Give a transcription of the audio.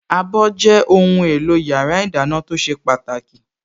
Abọ́ jẹ́ ohùn èlò yàrá ìdáná tó ṣe pàtàkì